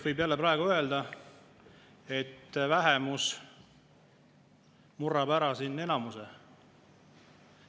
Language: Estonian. Võib jälle praegu öelda, et vähemus murrab siin enamuse.